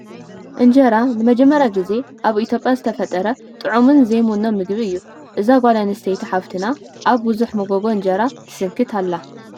እንጀራ ንመጀመርያ ጊዜ ኣብ ኢ/ያ ዝተፈጠረ ጥዕሙን ዘይሙኖን ምግቢ እዩ፡፡ እዛ ጓል ኣነስተይ ሓፍትና ኣብ ብዙሕ መጎጎ እንጀራ ትስንክት ኣላ፡፡